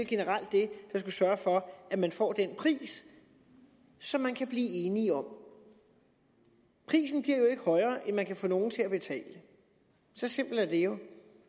generelt det der skal sørge for at man får den pris som man kan blive enige om prisen bliver jo ikke højere end man kan få nogle til at betale så simpelt er det jo